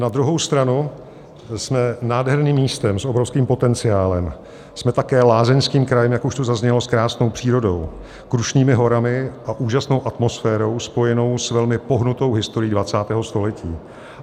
Na druhou stranu jsme nádherným místem s obrovským potenciálem, jsme také lázeňským krajem, jak už tu zaznělo, s krásnou přírodou, Krušnými horami a úžasnou atmosférou spojenou s velmi pohnutou historií 20. století.